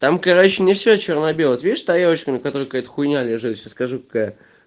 там короче не все чёрно-белое вот видишь тарелочку на которой какая-то хуйня лежит сейчас скажу какая